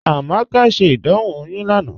Amaka ṣẹ́ ìdánwò oyún lánà